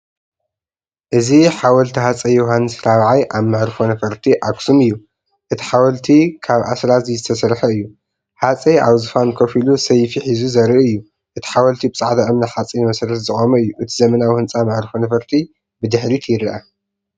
እዚ ሓወልቲ ሃፀይ ዮውሃንስ ራብዓይ ኣብ መዕርፎ ነፈርቲ ኣክሱም እዩ። እቲ ሓወልቲ ካብ ኣስራዚ ዝተሰርሐ እዩ። ሃጸይ ኣብ ዝፋን ኮፍ ኢሉ ሰይፊ ሒዙ ዘርኢ እዩ። እቲ ሓወልቲ ብጻዕዳ እምኒ-ሓጺን መሰረት ዝቖመ እዩ። እቲ ዘመናዊ ህንጻ መዓርፎ ነፈርቲ ብድሕሪት ይርአ።